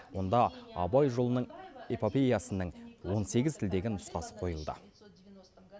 онда абай жолының эпопеясының он сегіз тілдегі нұсқасы қойылды